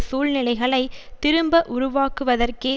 சூழ்நிலைகளை திரும்ப உருவாக்குவதற்கே